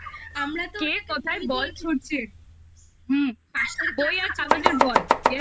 বাবা ওরে বাবা আমরা তো কে কোথায় বল ছুঁড়ছে হুম বই আর কাগজের বল yes